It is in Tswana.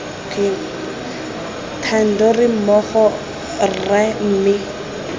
thando re mmogo rra mme